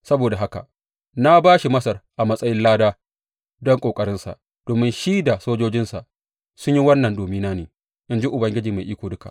Saboda haka na ba shi Masar a matsayin lada don ƙoƙarinsa domin shi da sojojinsa sun yi wannan domina ne, in ji Ubangiji Mai Iko Duka.